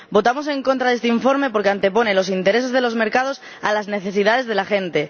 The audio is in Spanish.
Votamos en contra de este informe porque antepone los intereses de los mercados a las necesidades de la gente.